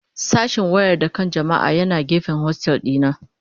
Sashen wayar da kan jama'a yana gefen hostel dina.